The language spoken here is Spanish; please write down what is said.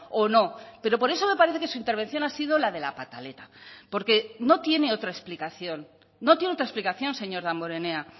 o no pero por eso me parece que su intervención ha sido la de la pataleta porque no tiene otra explicación no tiene otra explicación señor damborenea